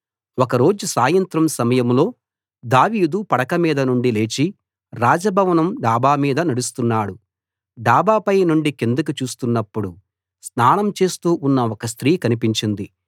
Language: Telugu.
ఒకరోజు సాయంత్రం సమయంలో దావీదు పడక మీద నుండి లేచి రాజభవనం డాబా మీద నడుస్తున్నాడు డాబాపై నుండి కిందికి చూస్తున్నప్పుడు స్నానం చేస్తూ ఉన్న ఒక స్త్రీ కనిపించింది